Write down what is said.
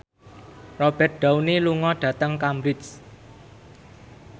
Robert Downey lunga dhateng Cambridge